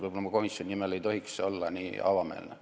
Võib-olla ma komisjoni nimel rääkides ei tohiks olla nii avameelne.